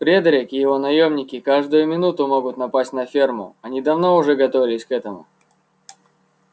фредерик и его наёмники каждую минуту могут напасть на ферму они давно уже готовились к этому